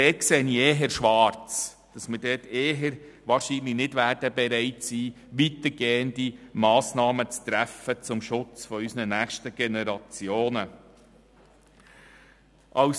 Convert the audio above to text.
Dort sehe ich eher schwarz und dass wir nicht bereit sein werden, weitergehende Massnahmen zum Schutz der nächsten Generationen zu treffen.